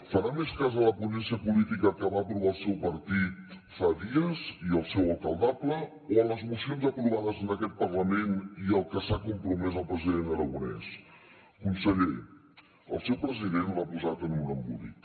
farà més cas de la ponència política que va aprovar el seu partit fa dies i el seu alcaldable o de les mocions aprovades en aquest parlament i al que s’ha compromès el president aragonès conseller el seu president l’ha posat en un embolic